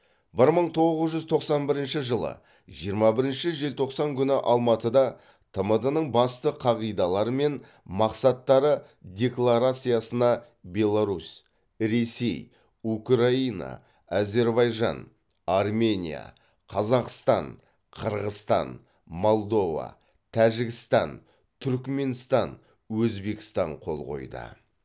бір мың тоғыз жүз тоқсан бірінші жылы жиырма бірінші желтоқсан күні алматыда тмд ның басты қағидалары мен мақсаттары декларациясына беларусь ресей украина әзербайжан армения қазақстан қырғызстан молдова тәжікстан түрікменстан өзбекстан қол қойды